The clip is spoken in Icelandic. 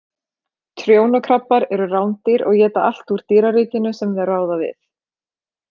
Trjónukrabbar eru rándýr og éta allt úr dýraríkinu sem þeir ráða við.